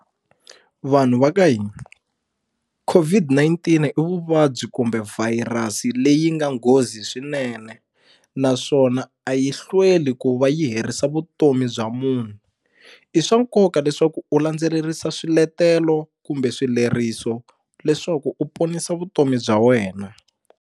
Vanhu va ka hina COVID-19 i vuvabyi kumbe virus leyi nga nghozi swinene naswona a yi hlweli ku va yi herisa vutomi bya munhu i swa nkoka leswaku u landzelerisa swiletelo kumbe swileriso leswaku u ponisa vutomi bya wena.